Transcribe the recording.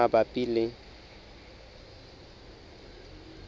e tlang tse mabapi le